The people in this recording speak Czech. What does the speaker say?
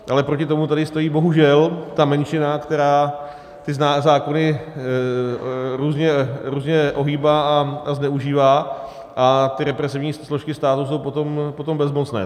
Ale proti tomu tady stojí bohužel ta menšina, která ty zákony různě ohýbá a zneužívá, a ty represivní složky státu jsou potom bezmocné.